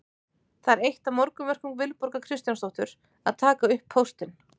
Það er eitt af morgunverkum Vilborgar Kristjánsdóttur að taka upp póstinn.